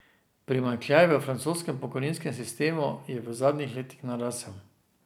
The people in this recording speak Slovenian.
Primanjkljaj v francoskem pokojninskem sistemu je v zadnjih letih narasel.